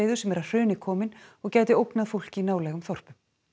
sem er að hruni komin og gæti ógnað fólki í nálægum þorpum